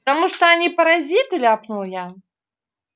потому что они паразиты ляпнул я